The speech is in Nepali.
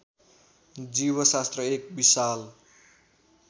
जीवशास्त्र एक विशाल